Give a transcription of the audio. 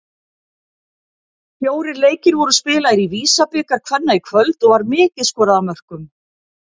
Fjórir leikir voru spilaðir í VISA-bikar kvenna í kvöld og var mikið skorað af mörkum.